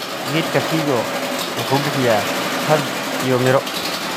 Geedka figo wuxuu bixiya hadh iyo miro.